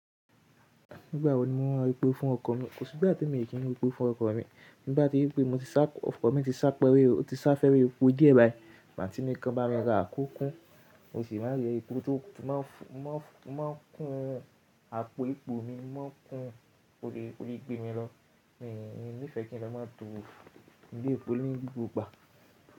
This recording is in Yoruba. Nígbà wo ni mo máa r'epo fún ọkọ̀ mi? Kò sí ìgbà tí mi ò kí ń r'epo fún ọkọ̀ mi. Tí mo bá tí rí pé mo ti sá ọkọ̀ mi ti sá pẹ́rẹ́, ó ti sá fẹ́rẹ́ epo díẹ̀ báyìí. Ma tí mo kan máa ràa k'ókún, mo sì máa r'epo tó máa kún àpò epo mi, mo máa kún ó lè gbé mi lọ. Miì nifẹ́ kí n lọ máa to ní ilé epo ní gbogbo ìgbà.